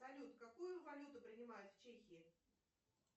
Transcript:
салют какую валюту принимают в чехии